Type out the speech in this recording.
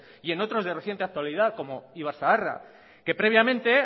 y en otros de reciente actualidad como ibarzaharra que previamente